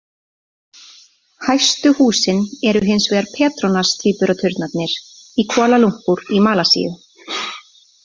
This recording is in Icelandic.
Hæstu húsin eru hins vegar Petronas-tvíburaturnarnir í Kuala Lumpur í Malasíu.